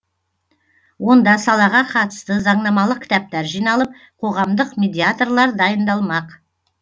онда салаға қатысты заңнамалық кітаптар жиналып қоғамдық медиаторлар дайындалмақ